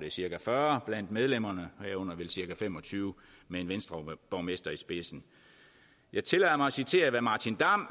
det er cirka fyrre blandt sine medlemmer herunder cirka fem og tyve med en venstreborgmester i spidsen jeg tillader mig at citere hvad martin damm